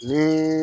Ni